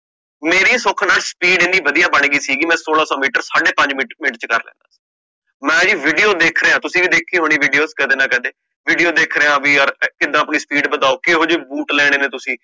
ਮੇਰੀ ਸੁਖ ਨਾਲ speed ਏਨੀ ਵਧੀਆ ਬਣ ਗੀ ਸੀਗੀ, ਮੈਂ ਸੋਲਾਂ ਸੋ ਮੀਟਰ ਸਾਡੇ ਪੰਜ ਮਿੰਟ ਪੰਜ ਮਿੰਟ ਚ ਕਰ ਲੈਂਦਾ ਸੀਗਾ, ਮੈਂ ਜੀ video ਵੇਖ ਰਿਹਾ ਤੁਸੀਂ ਵੀ ਵੇਖੀ ਹੋਣੀ ਵੀਡੀਓ ਕਦੇ ਨਾ ਕਦੇ video ਵੇਖ ਰਿਹਾ ਕਿ ਯਰ ਕਿਵੇਂ ਆਪਣੀ ਸਪੀਡ ਵਧਾਓ, ਕਹਿੰਦੇ ਬੂਟ ਲੈਣੇ ਨੇ ਤੁਸੀਂ